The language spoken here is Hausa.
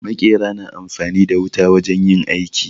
Maƙera na amfani da wuta wajen yin aiki.